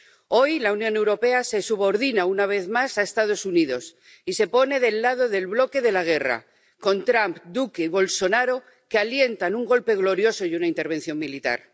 Hoy, la Unión Europea se subordina una vez más a Estados Unidos y se pone del lado del bloque de la guerra con Trump, Duque y Bolsonaro, que alientan un golpe glorioso y una intervención militar.